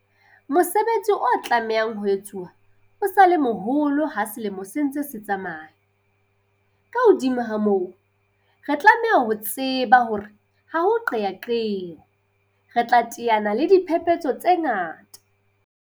Mosebetsi o tlamehang ho etswa o sa le moholo ha selemo se ntse se tsamaya. Ka hodimo ho moo, re tlameha ho tseba hore ha ho qeaqeo, re tla teana le diphephetso tse ngata.